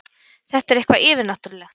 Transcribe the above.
Þetta er eitthvað yfirnáttúrlegt.